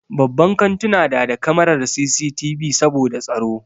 Babban kantuna na da kamarar CCTV saboda tsaro.